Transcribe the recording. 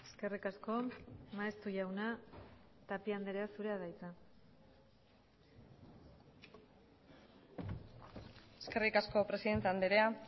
eskerrik asko maeztu jauna tapia andrea zurea da hitza eskerrik asko presidente andrea